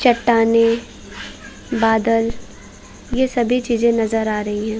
चट्टाने बादल ये सभी चीजे नजर आ रही है।